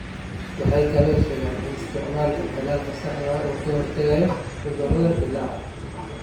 Waxay kaloo sheegeen in isticmaalka tallaalka saxda ah uu ka hortagayo cudurrada dillaaca.